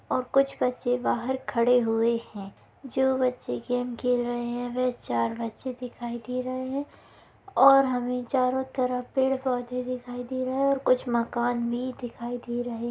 और कुछ बच्चे बहार खड़े हुए हैं जो बच्चे गेम खेल रहे हैं वे चार बच्चे दिखाई दे रहे हैं और हमें चारो तरफ पेड़ पौधे दिखाई दे रहे हैं और कुछ मकान भी दिखाई दे रहे --